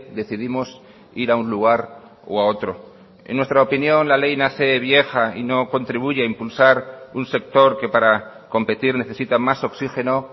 decidimos ir a un lugar o a otro en nuestra opinión la ley nace vieja y no contribuye a impulsar un sector que para competir necesita más oxígeno